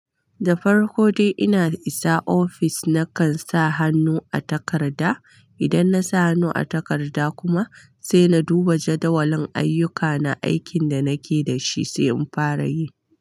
Da farko dai ina isa ofis, nakan sa hannu a takarda. Idan na sa hannu a takarda kuma sai na duba jadawalin ayyukana, aikin da nake da shi sai in fara yi.